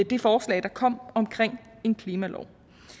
det forslag der kom omkring en klimalov